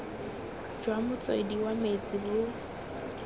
jwa motswedi wa metsi bo